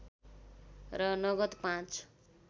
र नगद पाँच